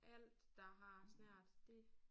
Alt der har snert det